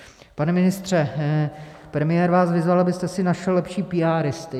Pane ministře, premiér vás vyzval, abyste si našel lepší píáristy.